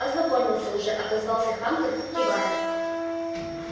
ознакомился уже отозвался хантер кивая